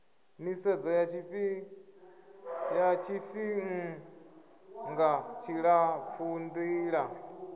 nisedzo ya tshifihnga tshilapfu ndila